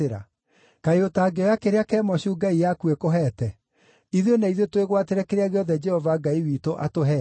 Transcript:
Kaĩ ũtangĩoya kĩrĩa Kemoshu ngai yaku ĩkũheete? Ithuĩ na ithuĩ twĩgwatĩre kĩrĩa gĩothe Jehova Ngai witũ atũheete.